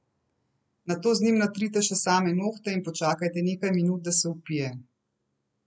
Nato z njim natrite še same nohte in počakajte nekaj minut, da se vpije.